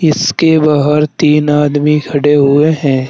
इसके बाहर तीन आदमी खड़े हुए हैं।